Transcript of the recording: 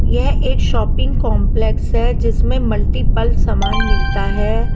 यह एक shopping complex है जिसमें मल्टीपल सामान मिलता है।